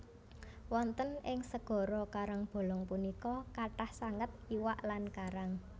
Wonten ing segara karangbolong punika kathah sanget iwak lan karang